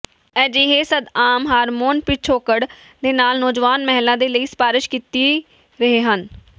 ਅਜਿਹੇ ਸੰਦ ਆਮ ਹਾਰਮੋਨ ਪਿਛੋਕੜ ਦੇ ਨਾਲ ਨੌਜਵਾਨ ਮਹਿਲਾ ਦੇ ਲਈ ਸਿਫਾਰਸ਼ ਕੀਤੀ ਰਹੇ ਹਨ